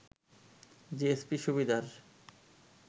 GSP সুবিধার